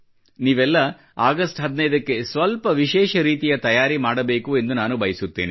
ನೀವೆಲ್ಲ ಆಗಸ್ಟ್ 15 ಕ್ಕೆ ಸ್ವಲ್ಪ ವಿಶೇಷ ರೀತಿಯ ತಯಾರಿ ಮಾಡಬೇಕು ಎಂದು ನಾನು ಬಯಸುತ್ತೇನೆ